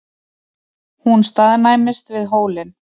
Hún staðnæmist við hólinn.